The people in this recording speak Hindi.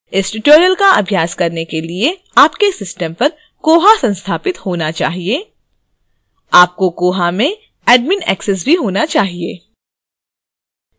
इस tutorial का अभ्यास करने के लिए आपके system पर koha संस्थापित होना चाहिए